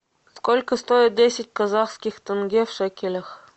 сколько стоит десять казахских тенге в шекелях